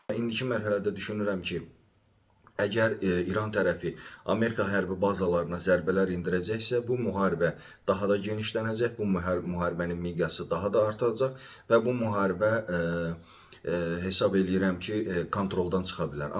İndiki mərhələdə düşünürəm ki, əgər İran tərəfi Amerika hərbi bazalarına zərbələr endirəcəksə, bu müharibə daha da genişlənəcək, bu müharibənin miqyası daha da artıracaq və bu müharibə hesab eləyirəm ki, kontroldan çıxa bilər.